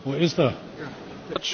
Panie Przewodniczący!